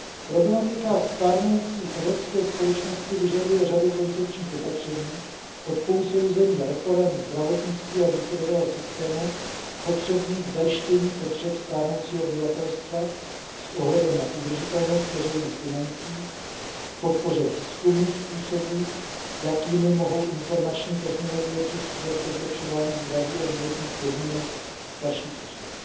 Problematika stárnoucí evropské společnosti vyžaduje řadu koncepčních opatření od posouzení reforem zdravotnictví a důchodového systému potřebných k zajištění potřeb stárnoucího obyvatelstva s ohledem na udržitelnost veřejných financí k podpoře výzkumu způsobů, jakými mohou informační technologie přispívat ke zlepšování zdraví a životních podmínek starších osob.